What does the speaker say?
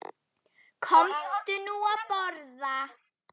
Komdu nú að borða